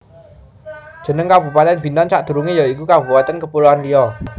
Jeneng kabupatèn Bintan sadurungé ya iku Kabupatèn Kapuloan Riau